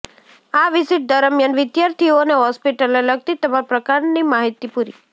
આ વિઝીટ દરમિયાન વિદ્યાર્થીઓને હોસ્પિટલને લગતી તમામ પ્રકારની માહિતી પૂરી